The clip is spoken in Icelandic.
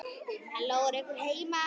Halló, er einhver heima?